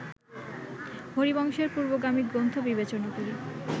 হরিবংশের পূর্বগামী গ্রন্থ বিবেচনা করি